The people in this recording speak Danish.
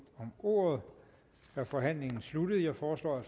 om ordet er forhandlingen sluttet jeg foreslår at